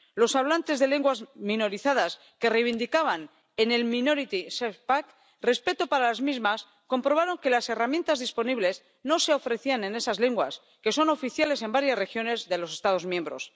Los hablantes de lenguas minorizadas que reivindicaban en el Minority Safe Pack respeto para las mismas comprobaron que las herramientas disponibles no se ofrecían en esas lenguas que son oficiales en varias regiones de los Estados miembros.